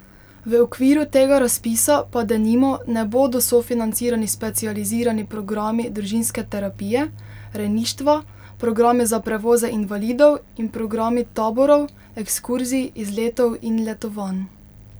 V okviru tega razpisa pa denimo ne bodo sofinancirani specializirani programi družinske terapije, rejništva, programi za prevoze invalidov in programi taborov, ekskurzij, izletov in letovanj.